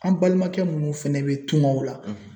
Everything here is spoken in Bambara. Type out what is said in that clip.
An balimakɛ munnu fana bɛ tungaw la.